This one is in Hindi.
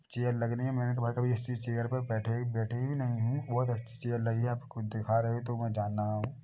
चेयर लगने मे या कभी किसी ऐसी चेयर पर बैठी बैठे ही नहीं बोत अच्छी चेयर लगी है आपको दिखा रहे है तो वहाँ जाना है।